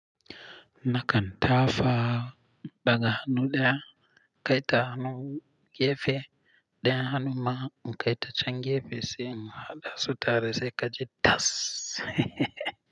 Na kan tafa daga hannu ɗaya, kai ta hannu gefe, ɗayan hannun ma in kai ta can gefe sai in haɗa su tare sai ka ji tas.